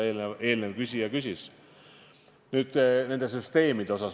Nüüd nendest süsteemidest.